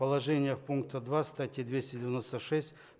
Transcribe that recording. положениев пункта два статьи двести девяносто шесть